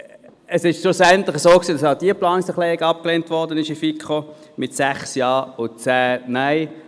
Es war schlussendlich so, dass auch diese Planungserklärung in der FiKo abgelehnt wurde, mit 6 Ja- zu 10 Nein-Stimmen.